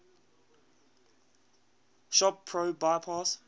shop pro bypass